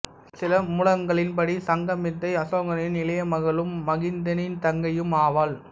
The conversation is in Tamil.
சில மூலங்களின்படி சங்கமித்தை அசோகனின் இளைய மகளும் மகிந்தனின் தங்கையும் ஆவாள்